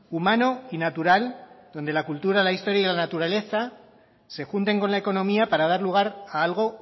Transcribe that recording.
humano y natural donde la cultura la historia y la naturaleza se junten con la economía para dar lugar a algo